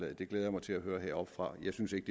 det glæder mig til at høre heroppefra men jeg synes ikke